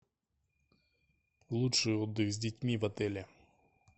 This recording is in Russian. лучший отдых с детьми в отеле